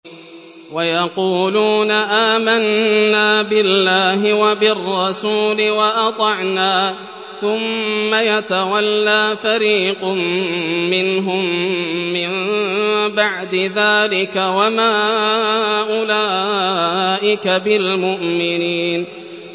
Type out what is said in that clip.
وَيَقُولُونَ آمَنَّا بِاللَّهِ وَبِالرَّسُولِ وَأَطَعْنَا ثُمَّ يَتَوَلَّىٰ فَرِيقٌ مِّنْهُم مِّن بَعْدِ ذَٰلِكَ ۚ وَمَا أُولَٰئِكَ بِالْمُؤْمِنِينَ